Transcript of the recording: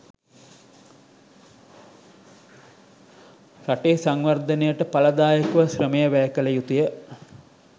රටේ සංවර්ධනයට ඵලදායකව ශ්‍රමය වැය කළ යුතුය